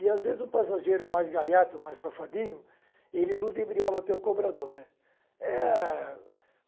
E, às vezes, um passageiro mais gaiato, mais safadinho, ele ludibriava até o cobrador, né. É a